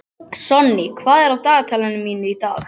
Sonný, hvað er á dagatalinu mínu í dag?